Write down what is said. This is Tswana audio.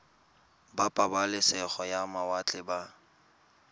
ba pabalesego ya mawatle ba